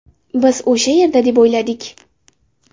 Biz o‘sha yerda deb o‘yladik.